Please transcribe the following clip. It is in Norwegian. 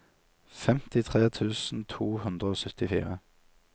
femtitre tusen to hundre og syttifire